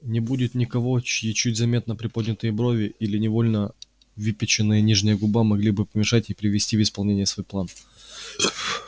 не будет никого чьи чуть заметно приподнятые брови или невольно выпяченная нижняя губа могли бы помешать ей привести в исполнение свой план